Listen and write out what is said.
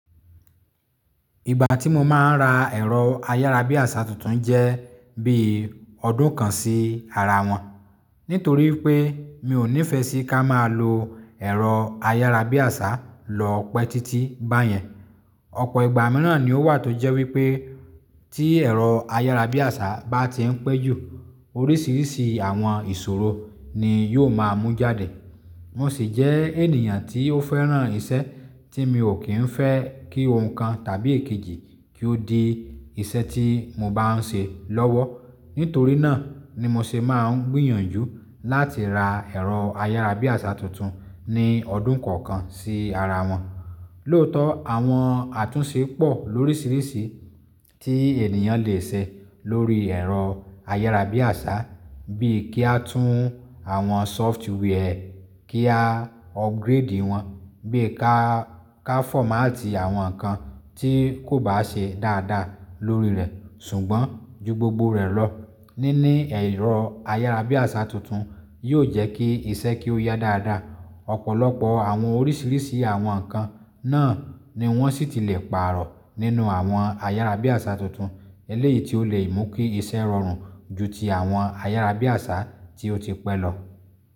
Ìgbà tí mo máa ń ra ẹ̀rọ ayárabíàṣá tuntun jẹ́ bí ọdún kan sí ara wọn, nítorí pé mi ò nífẹẹ sí ká máa lo ẹ̀rọ ayárabíàṣá lọ́pọ̀ títí bá yẹn. Ọ̀pọ̀ ìgbà mìíràn ni ó wà tó jẹ́ wípé tí ẹ̀rọ ayárabíàṣá bá ti ń péjú, oríṣiríṣi àwọn ìṣòro ni yó máa mú jáde. Mo sì jẹ́ ènìyàn tí ó fẹ́ràn iṣẹ́ tí mi ò kí ń fẹ́ kí ohun kan tàbí èkejì kí ó di iṣẹ́ tí mo bá ń ṣe lọ́wọ́. Nítorí náà ni mo ṣe máa ń gbìyànjú láti ra ẹ̀rọ ayárabíàṣá tuntun ní ọdún kọ̀ọ̀kan sí ara wọn. Lóòótọ́ àwọn àtúnṣe pọ̀ lóríṣiríṣi tí ènìyàn leè ṣe lórí ẹ̀rọ ayárabíàṣá bíi kí a tún àwọn software kí a upgrade wọ́n, bíi ká, ká fọ́mátì àwọn nǹkan tí kò bá ṣe dáadáa lórí rẹ̀. Ṣùgbọ́n ju gbogbo rẹ̀ lọ, níní ẹ̀rọ ayárabíàṣá tuntun yóò jẹ́ kí iṣẹ́ kí ó yá dáadáa. Ọ̀pọ̀lọpọ̀ àwọn oríṣiríṣi àwọn nǹkan náà ni wọ́n sì ti le pààrọ̀ nínú àwọn ayárabíàṣá tuntun eléyìí tí ó le mú kí iṣẹ́ rọrùn ju ti àwọn ayárabíàṣá tí ó ti pẹ́ lọ.